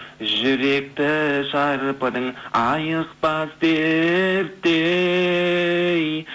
жүректі шарпыдың айықпас дерттей